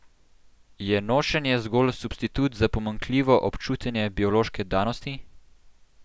Je nošenje zgolj substitut za pomanjkljivo občutenje biološke danosti?